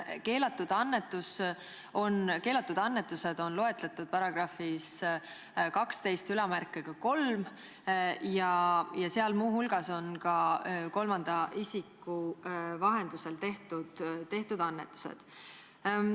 Keelatud annetused on loetletud paragrahvis 123 ja seal on muu hulgas juttu ka kolmanda isiku vahendusel tehtud annetustest.